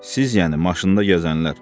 Siz, yəni maşında gəzənlər.